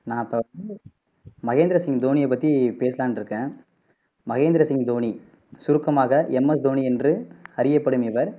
நான் இப்போ மகேந்திர சிங் தோனியை பத்தி பேசலாம்னு இருக்கேன் மகேந்திர சிங் தோனி சுருக்கமாக எம் எஸ் தோனி என்று அறியப்படும் இவர்